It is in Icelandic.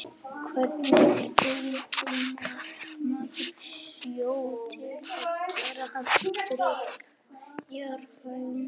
Hvernig eimar maður sjó til að gera hann drykkjarhæfan?